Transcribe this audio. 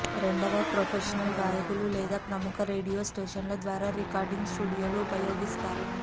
రెండవ ప్రొఫెషనల్ గాయకులు లేదా ప్రముఖ రేడియో స్టేషన్లు ద్వారా రికార్డింగ్ స్టూడియోలు ఉపయోగిస్తారు